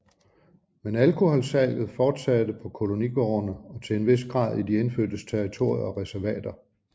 Men alkoholsalget fortsatte på kolonigårdene og til en vis grad i de indfødtes territorier og reservater